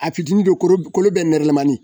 A fitiinin bɛ kolo kolo bɛ nɛrɛlamanin.